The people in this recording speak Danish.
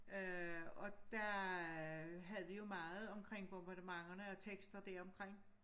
Øh og der havde vi jo meget omkring bombardementerne og tekster deromkring